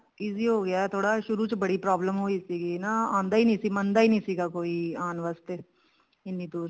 easy ਹੋਗਿਆ ਥੋੜਾ ਸ਼ੁਰੂ ਚ ਬੜੀ problem ਹੋਈ ਸੀ ਆਉਂਦਾ ਹੀ ਨਹੀਂ ਸੀ ਮੰਨਦਾ ਹੀ ਨਹੀਂ ਸੀ ਜਿੱਦਾਂ ਕੋਈ ਆਉਣ ਵਾਸਤੇ ਇੰਨੀ ਦੁਰ